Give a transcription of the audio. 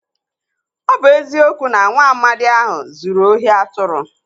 Ọ bụ eziokwu na nwaamadi ahụ zuru ohi atụrụ.